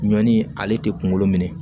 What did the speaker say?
Ɲɔni ale tɛ kunkolo minɛ